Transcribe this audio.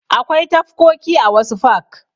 Akwai tafkoki a wasu fak.